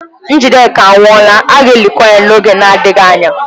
Njideka anwụọla, a ga-elikwa ya n'oge adịghị anya.